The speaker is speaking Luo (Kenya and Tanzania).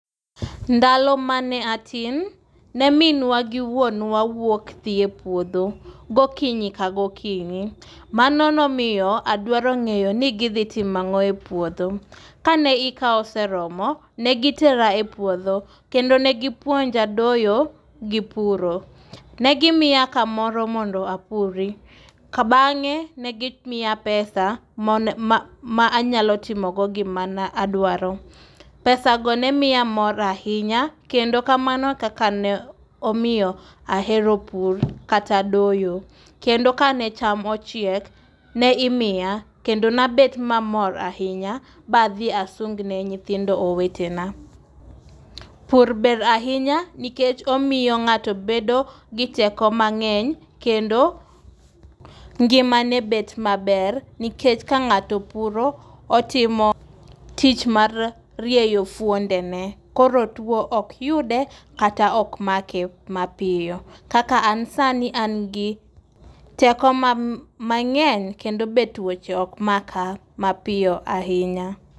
Ndalo mane atin, ne minwa gi wuonwa wuok dhi e puodho gokinyi ka gokinyi. Mano nomiyo adwaro ngéyo ni gidhi timo angó e puodho. Ka ne ika oseromo, ne gitera e puodho kendo negipuonja doyo gi puro. Ne gimiya kamoyo mondo apuri. Ka bangé ne gimiya pesa ma, ma anyalo timo go gimana adwaro. Pesa go nemiya mor ahinya, kendo kamano e kaka ne omiyo ahero pur kata doyo. Kendo ka ne cham ochiek, ne imiya kendo ne aber mamor ahinya, ba adhi asung ne nyithindo owetena. Pur ber ahinya, nikech omiyo ngáto bedo gi teko mangény kendo ngimane bet maber. Nikech ka ngáto puro otimo tich mar rieyo fuondene. Koro two ok yudo kata okmake mapiyo. Kaka an sani an gi teko mangény kendo be twoche ok maka mapiyo ahinya.